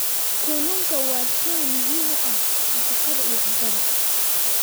Kalluunku waa shay muhiim u ah nafaqada iyo cuntada.